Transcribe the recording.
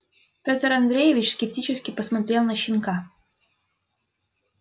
пётр андреевич скептически посмотрел на щенка